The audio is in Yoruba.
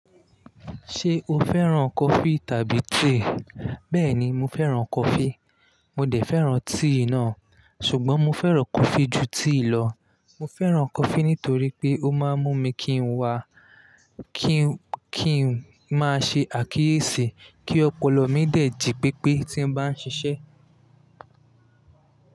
Ṣé o fẹ́ràn coffee tàbí tea? Bẹ́ẹ̀ni, mo fẹ́ràn coffee. Mo dẹ̀ fẹ́ràn tea náà, ṣùgbọ́n mo fẹ́ràn coffee ju tea lọ. Mo fẹ́ràn coffee nítorí pé ó máa ń mú mi kí n wa, kí n, kí n máa ṣe àkíyèsí kí ọpọlọ mi dẹ̀ jí pépé tí n bá ń ṣiṣẹ́.